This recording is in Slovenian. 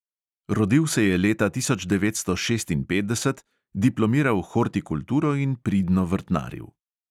Rodil se je leta tisoč devetsto šestinpetdeset, diplomiral hortikulturo in pridno vrtnaril.